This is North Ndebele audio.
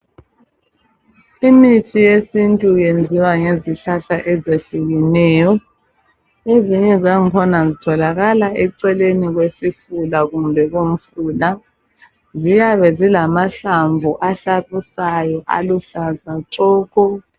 imithi yesintu iyenziwa ngezihlahla ezitshiyeneyo ezinye zangkhona zitholakala eceleni kwesifula kumbe komfula ziyabe zilamahlamvu ahlabisayo aluhlaza tshoko